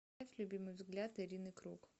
поставь любимый взгляд ирины круг